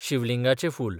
शीवलिंगाचें फूल